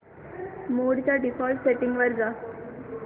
मोड च्या default settings वर जा